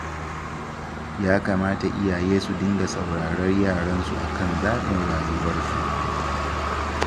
Ya kamata iyaye su dinga saurarar yaransu akan zaɓin rayuwarsu.